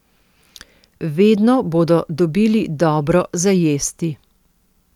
Vedno bodo dobili dobro za jesti.